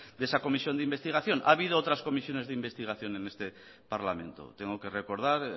de esa comisión de investigación ha habido otras comisiones de investigación en este parlamento tengo que recordar